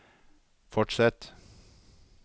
fortsett